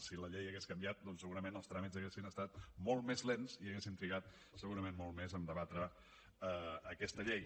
si la llei hagués canviat doncs segurament els tràmits haurien estat molt més lents i haurien trigat segurament molt més a debatre aquesta llei